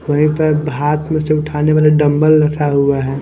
वहीं पर हाथ में से उठाने वाला डंबल रखा हुआ है।